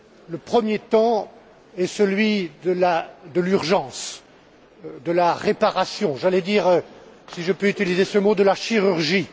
Le premier temps est celui de l'urgence, de la réparation, j'allais dire si je peux utiliser ce mot de la chirurgie.